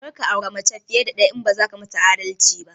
Karka aure mace fiye da ɗaya idan baza kayi adalci ba!